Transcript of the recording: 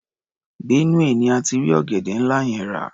Benue ni a ti rí ọ̀gẹ̀dẹ́ ńlá yẹn rà.